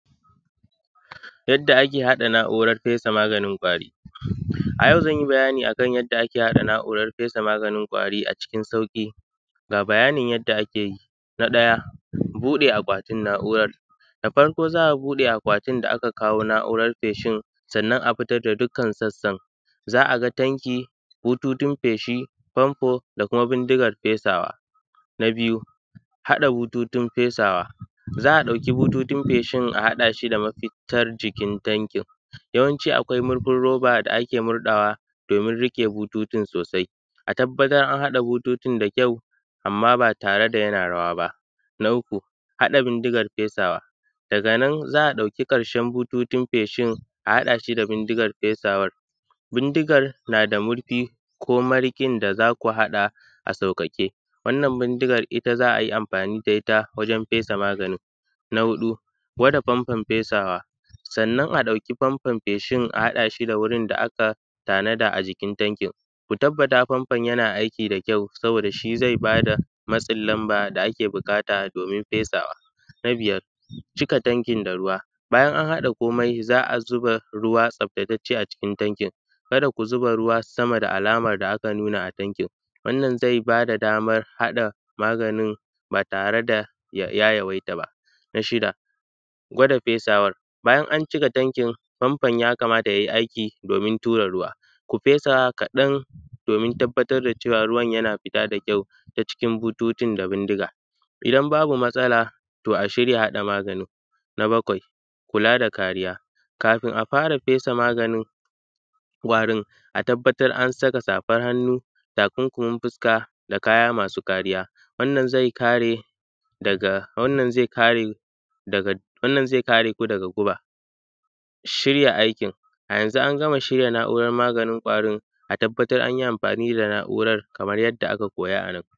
Yadda ake haɗa na`uran fesa maganin ƙwari, a yau zan yi bayani akan yadda ake haɗa na`uran fesa maganin ƙwari a cikin sauƙi ga bayanin yadda ake yi, na ɗaya buɗe akwatin na`uran, da farko za a buɗe akwatin da aka kawo na`uran feshin sannan a fitar da dukkan sassan za a ga tanki, bututun feshi, famfo, da kuma bindigan fesawa, na biyu, haɗa bututun fesawa, za a ɗauki bututun feshin a haɗa shi da mafitar jikin tankin yawanci akwai murfin roba da ake murɗawa domin riƙe bututun sosai a tabbatar an haɗa bututun da kyau amma ba tare da yana rawa ba, na uku, haɗa bindigan fesawa, daga nan za a ɗauki ƙarshe bututun feshin a haɗa shi da bindigan fesawan, bindigan na da murfi ko mariƙin da zaku haɗa a sauƙaƙe wannan bindigan ita za a yi amfani da ita wajen fesa maganin na huɗu, gwada famfon fesawa, sannan a ɗauki famfon feshin a haɗa shi da wurin da aka tanada a jikin tankin ku tabbata famfon yana aiki da kyau saboda shi zai ba da matsin lamba da ake buƙata domin fesawa, na biyar, cika tankin da ruwa, bayan an haɗa komai za a zuba ruwa tsaftatacce a cikin tankin kada ku zuba ruwa sama da alaman da aka nuna a tankin wannan zai ba da damar haɗa maganin ba tare da ya yawaita ba na shida, gwada fesawar, bayan an cika tankin famfon ya kamata yayi aiki domin tura ruwa ku fesa kaɗan domin tabbatar cewa ruwan yana fita kyau ta cikin bututun da bindiga idan babu matsala to a shirya haɗa maganin, na bakwai kula da kariya, kafin a fara fesa maganin ƙwarin a tabbatar an saka safan hannu, takunkumin fuska da kaya masu kariya wannan zai kare daga wannan zai kare daga wannan zai kare ku daga guba, shirya aikin a yanzu an gama shiya na`uran maganin ƙwarin a tabbatar an yi amfani da na`uran.